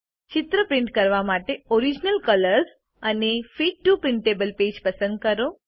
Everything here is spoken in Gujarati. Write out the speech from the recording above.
ચિત્ર પ્રિન્ટ કરવા માટે ઓરિજિનલ કલર્સ અને ફિટ ટીઓ પ્રિન્ટેબલ પેજ પસંદ કરો